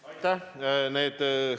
Aitäh!